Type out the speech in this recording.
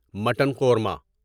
mutton korma